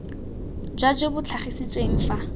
jwa jo bo tlhagisitsweng fa